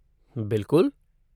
बिलकुल!